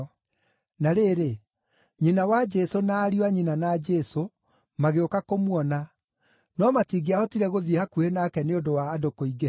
Na rĩrĩ, nyina wa Jesũ na ariũ a nyina na Jesũ magĩũka kũmuona, no matingĩahotire gũthiĩ hakuhĩ nake nĩ ũndũ wa andũ kũingĩha.